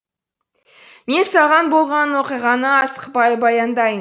мен саған болған оқиғаны асықпай баяндайын